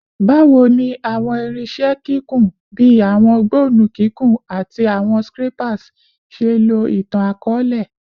Bawo ni awọn irinṣẹ kikun, bii awọn gbọnnu kikun ati awọn scrapers, ṣe lo itan-akọọlẹ?